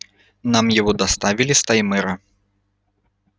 нам его доставили с таймыра